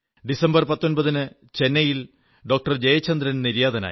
December 19 ന് ചെന്നൈയിൽ doctor Jayachandran നിര്യാതനായി